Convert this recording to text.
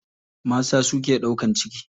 Mata su ke ɗaukan ciki.